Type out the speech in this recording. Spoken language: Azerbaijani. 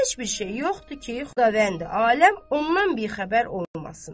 Heç bir şey yoxdur ki, Xudavəndi aləm ondan bixəbər olmasın.